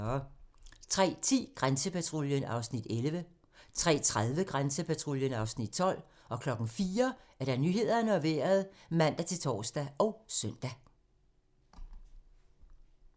03:10: Grænsepatruljen (Afs. 11) 03:30: Grænsepatruljen (Afs. 12) 04:00: Nyhederne og Vejret (man-tor og søn)